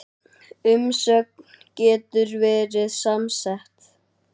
Umsögn getur verið samsett